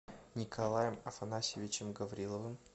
николаем афанасьевичем гавриловым